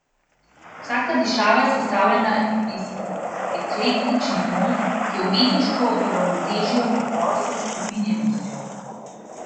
Vsaka dišava je sestavljena iz eklektičnih not, ki umetniško uravnotežijo preprostost s prefinjenostjo.